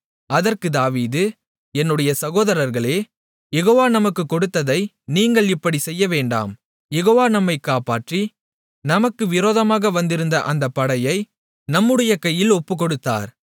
அதற்குத் தாவீது என்னுடைய சகோதரர்களே யெகோவா நமக்கு கொடுத்ததை நீங்கள் இப்படிச் செய்யவேண்டாம் யெகோவா நம்மைக் காப்பாற்றி நமக்கு விரோதமாக வந்திருந்த அந்தப் படையை நம்முடைய கையில் ஒப்புக்கொடுத்தார்